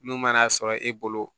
N'u mana a sɔrɔ e bolo